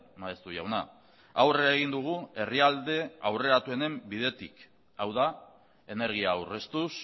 maeztu jauna aurrera egin dugu herrialde aurreratuenen bidetik hau da energia aurreztuz